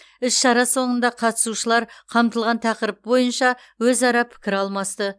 іс шара соңында қатысушылар қамтылған тақырып бойынша өзара пікір алмасты